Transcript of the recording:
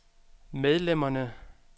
medlemmerne